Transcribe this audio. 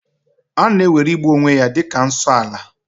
A na-ewere igbu onwe ya dị ka nsoala